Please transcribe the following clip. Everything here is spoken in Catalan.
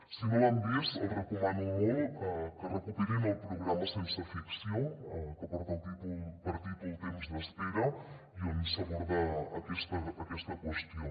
si no l’han vist els recomano molt que recuperin el programa sense ficció que porta per títol temps d’espera on s’aborda aquesta qüestió